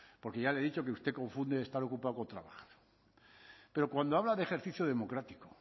porque ya le he dicho que usted confunde estar ocupado con trabajar pero cuando habla de ejercicio democrático